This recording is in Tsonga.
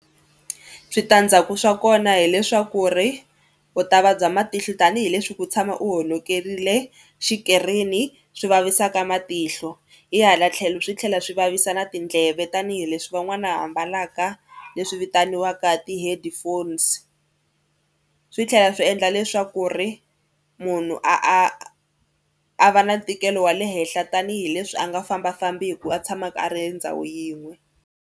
Switandzhaku swa kona hileswaku ri u ta vabya matihlo tanihileswi ku tshama u honokerile xikirini swi vavisaka matihlo. Hi hala tlhelo swi tlhela swi vavisa na tindleve tanihileswi van'wana va mbalaka leswi vitaniwaka ti-headphones. Swi tlhela swi endla leswaku ri munhu a a a va na ntikelo wa le henhla tanihileswi a nga fambafambiku a tshamaka a ri endhawu yin'we.